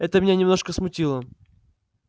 это меня немножко смутило